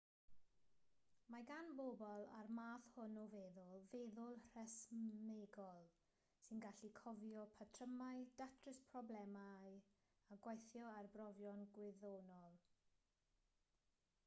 mae gan bobl a'r math hwn o feddwl feddwl rhesymegol sy'n gallu cofio patrymau datrys problemau a gweithio ar brofion gwyddonol